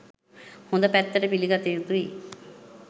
හොඳ පැත්තට පිළිගත යුතුයි